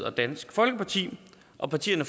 og dansk folkeparti og partierne